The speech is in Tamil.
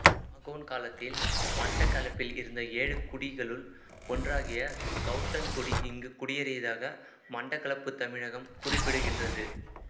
மாகோன் காலத்தில் மட்டக்களப்பில் இருந்த ஏழு குடிகளுள் ஒன்றாகிய கவுத்தன்குடி இங்கு குடியேறியதாக மட்டக்களப்புத் தமிழகம் குறிப்பிடுகின்றது